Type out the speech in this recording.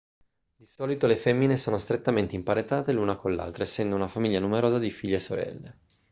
di solito le femmine sono strettamente imparentate l'una con l'altra essendo una famiglia numerosa di figlie e sorelle